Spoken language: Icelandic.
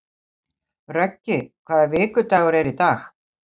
Röggi, hvaða vikudagur er í dag?